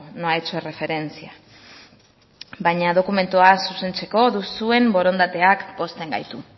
no ha hecho referencia baina dokumentua zuzentzeko duzuen borondatea pozten gaitu